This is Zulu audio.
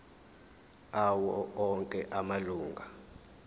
awo onke amalunga